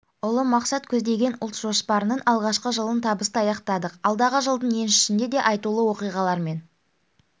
ұлы мақсат көздеген ұлт жоспарының алғашқы жылын табысты аяқтадық алдағы жылдың еншісінде де айтулы оқиғалар мен